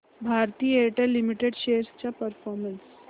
Bharti Airtel limited shares चा performance